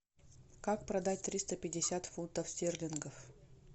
как продать триста пятьдесят фунтов стерлингов